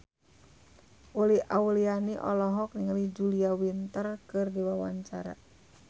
Uli Auliani olohok ningali Julia Winter keur diwawancara